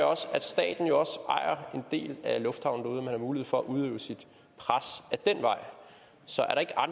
også at staten jo ejer en del af lufthavnen har mulighed for at udøve sit pres ad den vej så